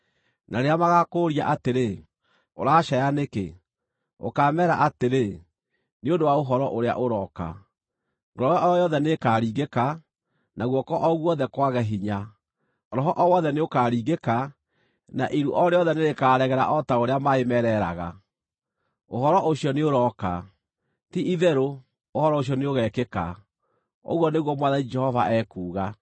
Na rĩrĩa magaakũũria atĩrĩ, ‘Ũracaaya nĩkĩ?’ ũkameera atĩrĩ, ‘Nĩ ũndũ wa ũhoro ũrĩa ũroka. Ngoro o yothe nĩĩkaringĩka, na guoko o guothe kwage hinya; roho o wothe nĩũkaringĩka na iru o rĩothe nĩrĩkaregera o ta ũrĩa maaĩ mereeraga.’ Ũhoro ũcio nĩũrooka! Ti-itherũ, ũhoro ũcio nĩũgekĩka, ũguo nĩguo Mwathani Jehova ekuuga.”